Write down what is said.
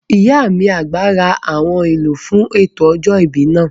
Ìyá mi àgbà ra àwọn ohun èlò fún ètò ọjọ́ ìbí náà